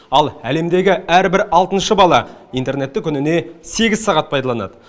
ал әлемдегі әрбір алтыншы бала интернетті күніне сегіз сағат пайдаланады